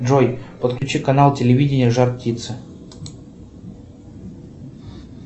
джой подключи канал телевидения жар птица